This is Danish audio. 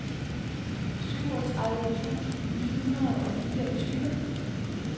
syvogtredive tusind ni hundrede og fireogtyve